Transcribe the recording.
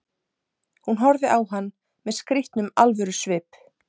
Hún horfði á hann með skrýtnum alvörusvip.